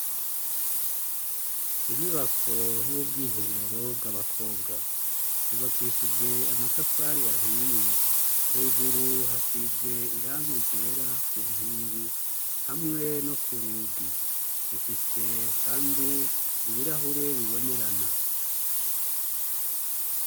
Inyubako y'ubwiherero bw'abakobwa yubakishije amatafari ahiye, hejuru hasize irangi ryera kunkingi hamwe no k'urugi rufise kandi ibirahuri bibonerana.